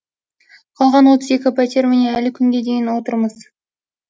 қалған отыз екі пәтер міне әлі күнге дейін отырмыз